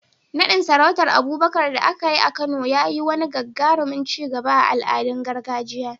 Naɗin sarautar Abubakar da aka yi a Kano ya yi wani gagarumin ci gaba a al'adun gargajiya.